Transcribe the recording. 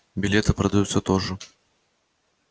билеты продаются тоже